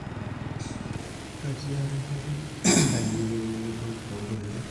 ketii ake entoki kae niyieu niyiolou to olduka lang